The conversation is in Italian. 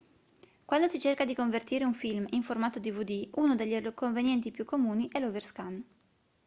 quando si cerca di convertire un film in formato dvd uno degli inconvenienti più comuni è l'overscan